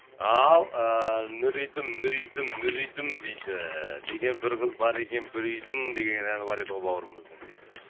ал ыыы нүридім нүридім нүридім дейді деген бір қыз бар екен бір үйдің деген әні бар еді ғой бауырымыздың дейді